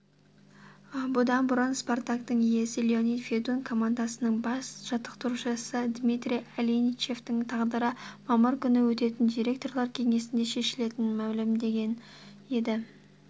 бұдан бұрын спартактың иесі леонид федун команданың бас жаттықтырушысы дмитрий аленичевтің тағдыры мамыр күні өтетін директорлар кеңесінде шешілетінін мәлімдеген еді